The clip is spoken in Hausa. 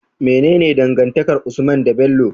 Mene dangantakar usman de Bello?